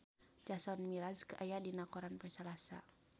Jason Mraz aya dina koran poe Salasa